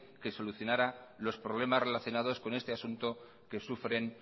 que solucionara los problemas relacionados con este asunto que sufren